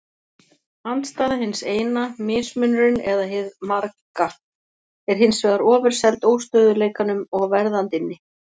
Andstæða hins eina, mismunurinn eða hið marga, er hins vegar ofurseld óstöðugleikanum og verðandinni.